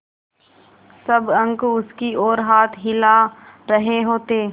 सब अंक उसकी ओर हाथ हिला रहे होते